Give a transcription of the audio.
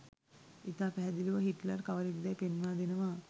ඉතා පැහැදිලිව හිට්ලර් කවරෙක්දැයි පෙන්වා දෙනවා